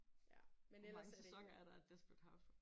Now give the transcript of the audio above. Ja men ellers er det ikke